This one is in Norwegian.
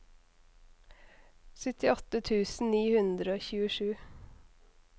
syttiåtte tusen ni hundre og tjuesju